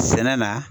Sɛnɛ na